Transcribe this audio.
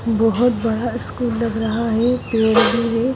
बहुत बड़ा स्कूल लग रहा है .